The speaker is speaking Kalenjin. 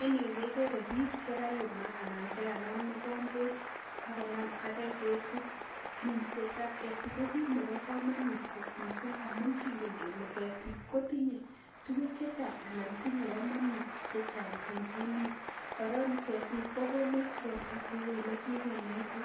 En yu kegere biik chekayumak anan chekanam mokomboet ak konaam age keetit. Minsetab keetik ko kit neboo komonut kot missing, amun kingen Kele keetik kotinye tuguk chechang anan tinye komonut chechang en emet. Koron keetik kokonech ropta kou elekikenaite,